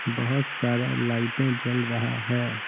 बहुत सारा लाइटें जल रहा है।